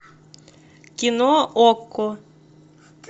кино окко